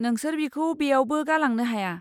नोंसोर बिखौ बेयावबो गालांनो हाया।